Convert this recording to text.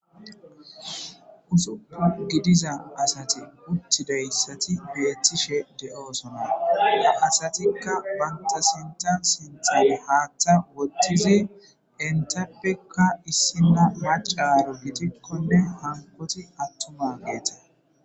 Usupun gidiza asati utidaysati betishe do'osona he asatika banta sintan sintan hata wothizi entapeka issina mac'c'aro gidikoneka hankoti atumageta.